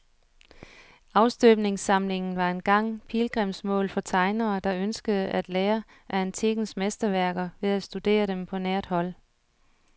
Afstøbningssamlingen var engang pilgrimsmål for tegnere, der ønskede at lære af antikkens mesterværker ved at studere dem på nært hold.